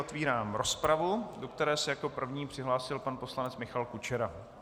Otvírám rozpravu, do které se jako první přihlásil pan poslanec Michal Kučera.